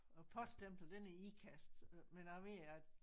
Og poststemplet den er Ikast men jeg ved at